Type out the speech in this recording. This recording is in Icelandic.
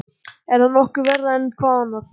Er það nokkuð verra en hvað annað?